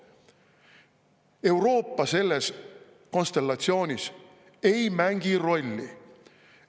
Euroopa selles konstellatsioonis ei mängi rolli.